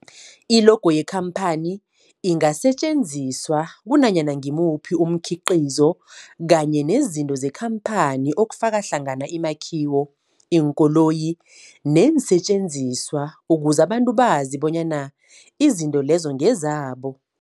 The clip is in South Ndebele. I-logo yekhamphani ingasetjenziswa kunanyana ngimuphi umkhiqizo kanye nezinto zekhamphani okufaka hlangana imakhiwo, iinkoloyi neensentjenziswa ukuze abantu bazi bonyana izinto lezo ngezabo.